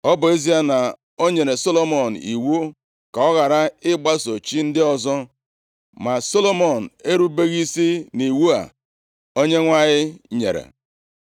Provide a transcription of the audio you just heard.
Ọ bụ ezie na o nyere Solomọn iwu ka ọ ghara ịgbaso chi ndị ọzọ, ma Solomọn erubeghị isi nʼiwu a Onyenwe anyị nyere.